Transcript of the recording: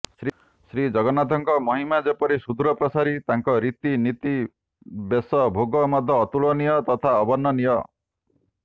ଶ୍ରୀଜଗନ୍ନାଥଙ୍କ ମହିମା ଯେପରି ସୁଦୂର ପ୍ରସାରୀ ତାଙ୍କର ରୀତି ନୀତି ବେଶ ଭୋଗ ମଧ୍ୟ ଅତୁଳନୀୟ ତଥା ଅବର୍ଣ୍ଣନୀୟ